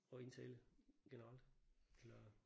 At indtale generelt eller?